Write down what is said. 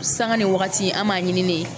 Sanga ni waati an b'a ɲini de